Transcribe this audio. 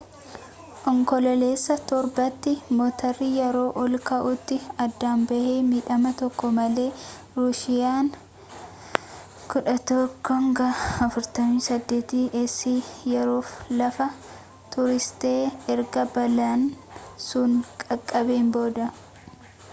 onkoloolesa 7 tti mootarri yeroo ol ka’uutti adda ba’e midhama tokko malee. ruusiyaan il-76s yeroof lafa tursiiste, erga balaan sun qaqqabeen booda